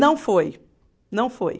Não foi, não foi.